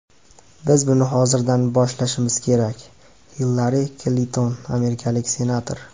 Biz buni hozirdan boshlashimiz kerak”, Hillari Klinton, amerikalik senator.